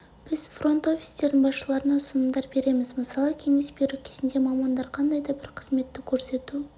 біз фронт-офистердің басшыларына ұсынымдар береміз мысалы кеңес беру кезінде мамандар қандай да бір қызметті көрсету